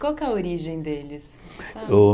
Qual é que é a origem deles? O